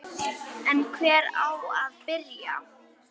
En hvar á að byrja?